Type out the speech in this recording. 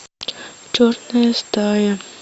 черная стая